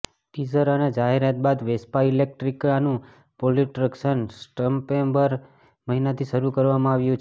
teaser અને જાહેરાત બાદ વેસ્પા ઇલેટ્રિકાનું પ્રોડક્શન સપ્ટેમ્બર મહિનાથી શરૂ કરવામાં આવ્યું છે